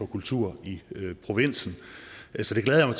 kultur i provinsen så jeg